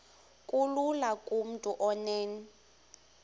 kulula kumntu onen